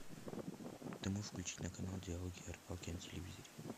ты можешь включить на канал диалоги о рыбалке на телевизоре